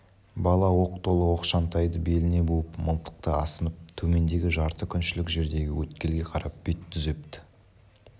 бала оқ толы оқшантайды беліне буып мылтықты асынып төмендегі жарты күншілік жердегі өткелге қарап бет түзепті